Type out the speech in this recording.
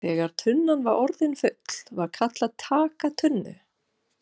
Þegar tunnan var orðin full var kallað TAKA TUNNU!